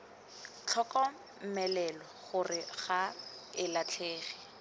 tlhokomelwa gore ga e latlhege